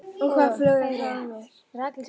Og hvað flögrar þá að mér?